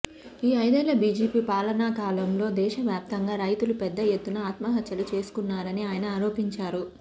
ఈ ఐదేళ్ల బీజేపీ పాలనాకాలంలో దేశ వ్యాప్తంగా రైతులు పెద్దఎత్తున ఆత్మహత్యలు చేసుకున్నారని ఆయన ఆరోపించారు